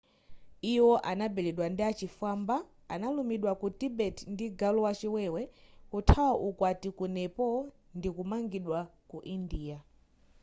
iwo anaberedwa ndi achifwamba analumidwa ku tibet ndi galu wachiwewe kuthawa ukwati ku nepal ndikumangidwa ku india